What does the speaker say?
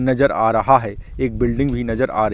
नज़र आ रहा है एक बिल्डिंग भी नज़र आ रही--